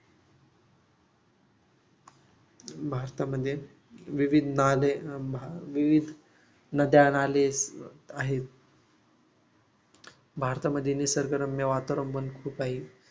भारतामध्ये विविध नाले विविध नद्या नाले आहेत भारतामध्ये निसर्गरम्य वातावरण पण खूप आहे.